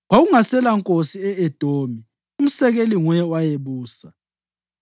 Kwakungaselankosi e-Edomi, umsekeli nguye owayebusa.